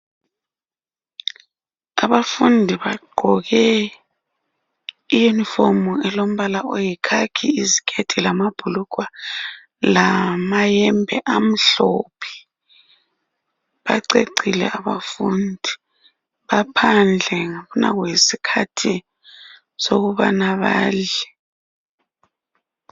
abafundi bagqoke i uniform elombala oyikhakhi iziketi lamabhulugwa lamayembe amhlophe bacecile abafundi baphandle ngabona yisikhathi sokubana badle